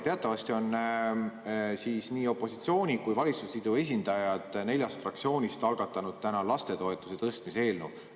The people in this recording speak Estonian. Teatavasti on nii opositsiooni kui ka valitsusliidu esindajad neljast fraktsioonist algatanud täna lastetoetuste tõstmise eelnõu.